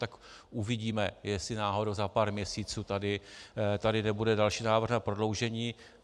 Tak uvidíme, jestli náhodou za pár měsíců tady nebude další návrh na prodloužení.